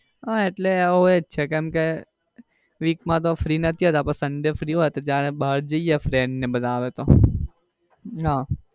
ના હમ એટલે એવું જ છે કેમ કે week માં તો free નથી હોતા પણ sunday free હોઈએ તો ત્યારે બાર જઈએ friend ને બધા આવે તો.